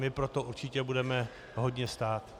My o to určitě budeme hodně stát.